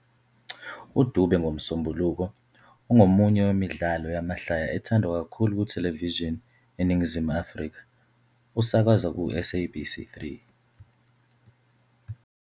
"UDube ngoMsombuluko", ongomunye wemidlalo yamahlaya ethandwa kakhulu kuthelevishini eNingizimu Afrika, usakazwa kuSABC 3.